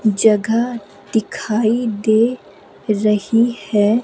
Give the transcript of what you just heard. जगह दिखाई दे रही है।